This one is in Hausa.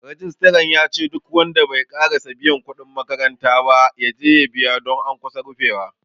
Rijistran yace duk wanda bai ƙarasa biyan kuɗin makaranta ba, yaje ya biya don an kusa rufewa.